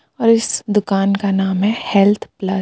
और इस दुकान का नाम है हेल्थ प्लस.